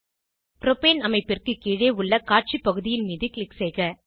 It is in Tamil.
ப்ரோபேன் அமைப்பிற்கு கீழே உள்ள காட்சி பகுதியின் மீது க்ளிக் செய்க